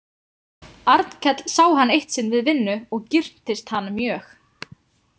Arnkell sá hann eitt sinn við vinnu og girntist hann mjög.